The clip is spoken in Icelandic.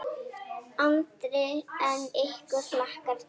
Andri: En ykkur hlakkar til?